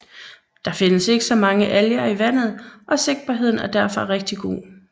Der findes ikke så mange alger i vandet og sigtbarheden er derfor rigtig god